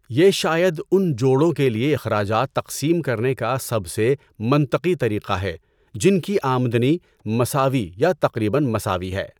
یہ شاید ان جوڑوں کے لیے اخراجات تقسیم کرنے کا سب سے منطقی طریقہ ہے جن کی آمدنی مساوی یا تقریباً مساوی ہے۔